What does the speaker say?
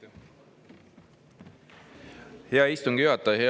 Aitäh, hea istungi juhataja!